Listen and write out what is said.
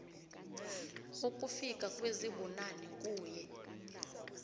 ukufika kwezibunane kuye